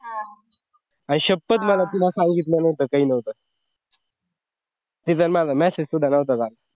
आई शप्पथ मला तिन सांगितलं नव्हतं, काइ नव्हतं. तिजा माझा message सुद्धा नव्हता झाला.